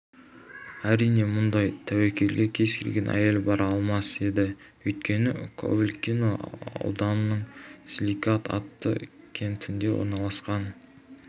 әрине мұндай тәуекелге кез келген әйел бара алмас еді өйткені ковылкино ауданының силикат атты кентінде орналасқан